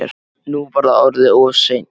Nú var það orðið of seint.